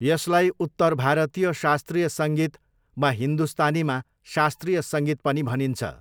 यसलाई उत्तर भारतीय शास्त्रीय सङ्गीत वा हिन्दुस्तानीमा शास्त्रीय सङ्गीत पनि भनिन्छ।